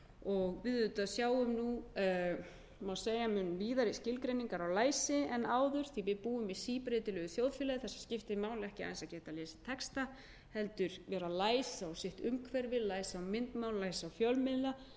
læsi við sjáum auðvitað nú mun víðari skilgreiningar á læsi en áður því að við búum í síbreytilegu þjóðfélagi þar sem skiptir máli ekki aðeins að geta lesið texta heldur vera læs á sitt umhverfi læs á myndmál læs á fjölmiðla